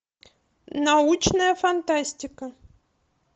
научная фантастика